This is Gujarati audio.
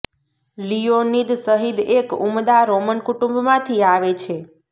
લિયોનીદ શહીદ એક ઉમદા રોમન કુટુંબ માંથી આવે છે